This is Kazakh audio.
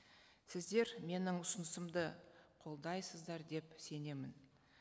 сіздер менің ұсынысымды қолдайсыздар деп сенемін